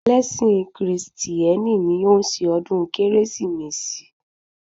Ẹlẹ́sìn Krìstieni ni o n ṣe ọ̀dún kérésìmesì